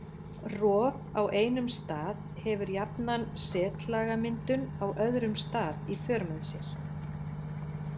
Rof á einum stað hefur jafnan setlagamyndun á öðrum stað í för með sér.